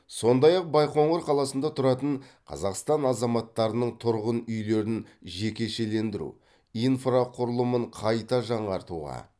сондай ақ байқоңыр қаласында тұратын қазақстан азаматтарының тұрғын үйлерін жекешелендіру инфрақұрылымын қайта жаңартуға